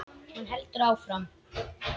Hún heldur áfram.